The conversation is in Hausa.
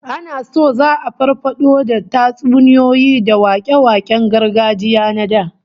Ana so za'a farfado da tatsuniyoyi da wake-waken gargajiya na da